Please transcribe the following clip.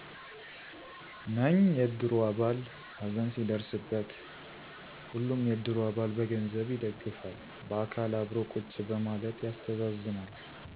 ነኝ የእድሩ አባል ሀዘን ሲደረስበት ሁሉም የእድሩ አባል በገንዘብ ይደግፋል። በአካል አብሮ ቁጭ በማለት ያስተዛዝናል።